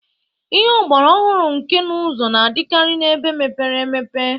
Ihe ọgbara ọhụrụ nka n'ụzụ na-adịkarị na ebe mepepere.